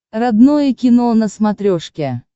родное кино на смотрешке